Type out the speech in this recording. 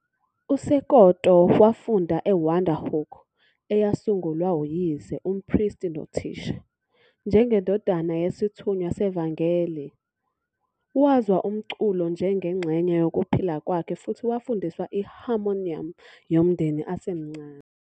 USekoto wafunda eWonderhoek, eyasungulwa uyise, umpristi nothisha. Njengendodana yesithunywa sevangeli, wazwa umculo njengengxenye yokuphila kwakhe futhi wafundiswa i-harmonium yomndeni esemncane.